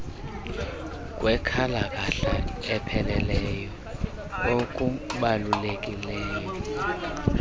kwenkalakahla epheleleyo okubalulekileyo